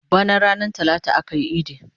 Bana ranar talata akayi idi